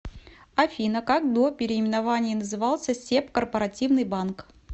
афина как до переименования назывался себ корпоративный банк